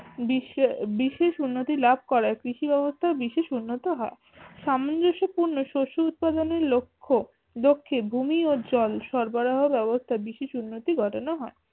বিশ্বে বিশেষ উন্নতি লাভ করার কৃষি ব্যবস্থার বিশেষ উন্নতি হয় সামঞ্জস্য পূর্ণ শস্য উৎপাদনের লক্ষ্য লক্ষ্যে ভূমি ও জল সরবারহ ব্যবস্থ্যা বিশেষ উন্নতি ঘটানো হয়